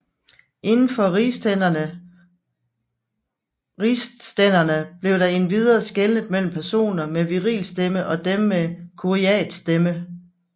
Indenfor rigsstænderne blev der endvidere skelnet mellem personer med virilstemme og dem med kuriatsstemme